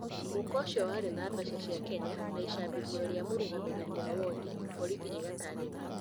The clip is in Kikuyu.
Mũhuko ũcio warĩ na mbeca cia Kenya, na icabithio rĩa mũrũgamĩrĩri wa wondi, borithi igatarĩria.